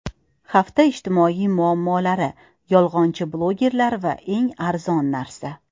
Hafta ijtimoiy muammolari: Yolg‘onchi blogerlar va eng arzon narsa.